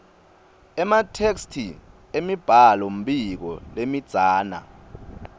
ematheksthi emibhalombiko lemidzana